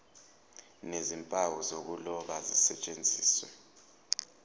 nezimpawu zokuloba zisetshenziswe